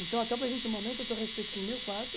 Então, até o presente momento, eu estou respeitando meu quarto.